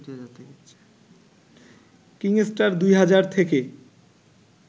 কিংস্টার ২ হাজার থেকে